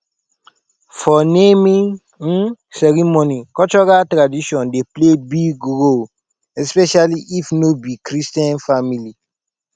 for naming um ceremony cultural tradition dey play big role especially if no be christian family